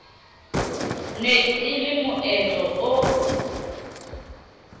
ne e le moetlo o